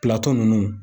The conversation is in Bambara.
Pilato ninnu